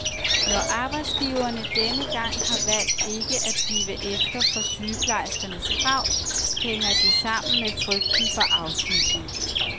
Når arbejdsgiverne denne gang har valgt ikke at give efter for sygeplejerskernes krav, hænger det sammen med frygten for afsmitning.